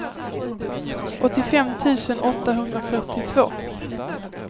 åttiofem tusen åttahundrafyrtiotvå